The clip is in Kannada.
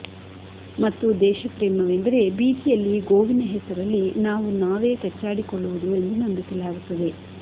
ಮತ್ತು ದೇಶಪ್ರೇಮವೆಂದರೆ ಬೀದಿಯಲ್ಲಿ ಗೋವಿನ ಹೆಸರಲ್ಲಿ ನಾವು ನಾವೇ ಕಚ್ಚಾಡಿಕೊಳ್ಳುವುದು ಎಂದು ನಂಬಿಸಲಾಗುತ್ತದೆ